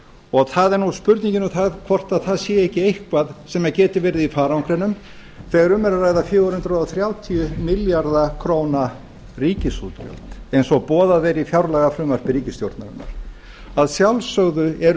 og það er spurningin um hvort það sé ekki eitthvað sem geti verið í farangrinum þegar um er að ræða fjögur hundruð þrjátíu milljarða króna ríkisútgjöld eins og boðað er í fjárlagafrumvarpi ríkisstjórnarinnar að sjálfsögðu eru